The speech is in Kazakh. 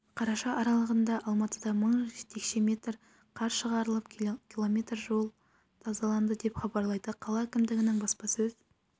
қараша аралығында алматыда мың текше метр қар шығарылып км жол тазаланды деп хабарлайды қала әкімдігінің баспасөз